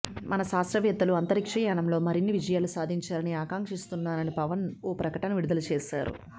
మన శాస్త్రవేత్తలు అంతరిక్ష యానంలో మరిన్ని విజయాలు సాధించాలని ఆకాంక్షిస్తున్నానని పవన్ ఓ ప్రకటన విడుదల చేశారు